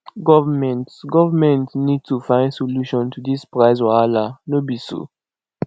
government government need to find solution to this price wahala no be so